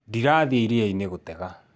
Ndĩrathiĩ iria-inĩ gũtega